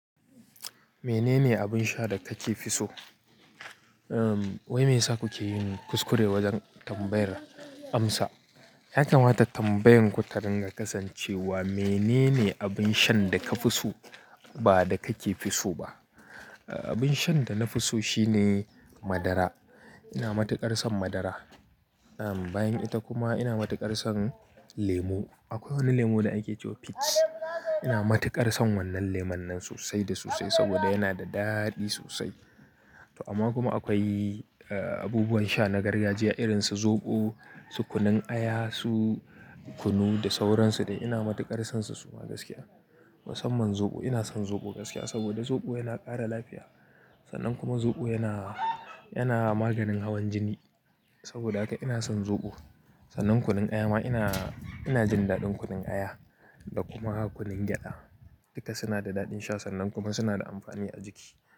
Menene abin sha da ka ke so? Wai me yasa kuke yin kuskure wajen tambayar amsa? Ya kamata tambayoyinku ta dinga kasancewa menene abin shan da ka fi so ba da kake fi so ba. Abin shan da na fi so shine madara. Ina matuƙar son madara. Bayan ita kuma ina matuƙar son lemo. Akwai wani lemo da ake cewa Pix. Ina matuƙar son wannan lemon nan sosai da sosai saboda yana da daɗi sosai. Amma kuma akwai abubuwan sha na gargajiya irin su zoɓo, su kunun aya, su kunu da sauransu da ina matuƙar son su suma gaskiya. Musamman zoɓo ina son zoɓo gaskiya saboda zoɓo yana ƙara lafiya. Sannan kuma zoɓo yana, yana maganin hawan jini. Saboda haka ina son zoɓo. Sannan kunun aya ma ina, ina jin daɗin kunun aya da kuma kunun gyada. Duka suna da daɗin sha sannan kuma suna da amfani a jiki.